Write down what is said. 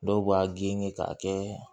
Dɔw b'a genge k'a kɛ